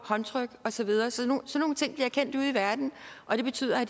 håndtryk og så videre sådan nogle ting bliver kendt ude i verden og det betyder at